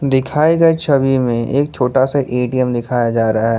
दिखाए गए छवि में एक छोटा सा ए_टी_एम दिखाया जा रहा है।